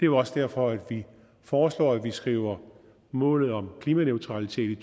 jo også derfor vi foreslår at vi skriver målet om klimaneutralitet i